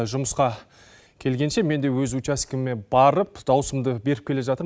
жұмысқа келгенше мен де өз учаскеме барып даусымды беріп келе жатырм